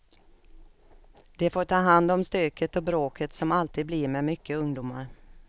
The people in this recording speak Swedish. De får ta hand om stöket och bråket som alltid blir med mycket ungdomar.